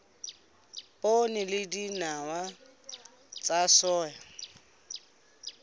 poone le dinawa tsa soya